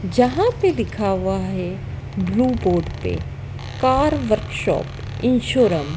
जहां पे लिखा हुआ है ब्लू बोर्ड पे कार वर्कशॉप इंसोरम --